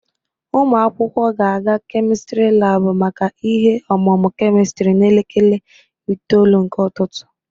Ụmụ akwụkwọ ga-aga kemistiri labụ maka ihe ọmụmụ kemistiri n'elekere itoolu nke ụtụtụ